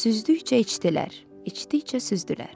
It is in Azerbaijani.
Süzdükcə içdilər, içdikcə süzdülər.